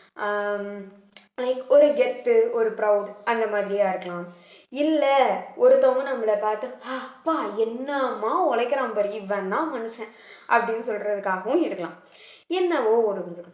ஆஹ் like ஒரு கெத்து ஒரு proud அந்த மாதிரியா இருக்கலாம் இல்ல ஒருத்தவங்க நம்மளை பார்த்து ப்பா என்னம்மா உழைக்கிறான் பாரு இவன்தான் மனுஷன் அப்படின்னு சொல்றதுக்காகவும் இருக்கலாம் என்னவோ ஒரு